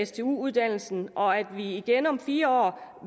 stu uddannelsen og at man igen om fire år